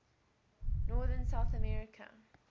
northern south america